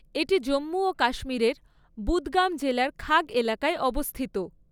এটি জম্মু ও কাশ্মীরের বুদগাম জেলার খাগ এলাকায় অবস্থিত।